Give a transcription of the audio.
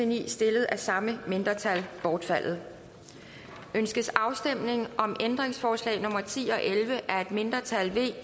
ni stillet af samme mindretal bortfaldet ønskes afstemning om ændringsforslag nummer ti og elleve af et mindretal